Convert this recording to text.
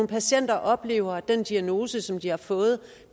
patienter oplever at den diagnose som de har fået